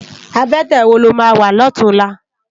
Abètè wó ló má wá lòtúnlá?